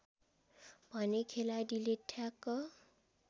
भने खेलाडीले ठ्याक